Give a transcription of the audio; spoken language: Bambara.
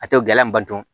A tɛ gɛlɛn an ba dɔn